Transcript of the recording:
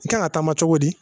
I kan ka taama cogo di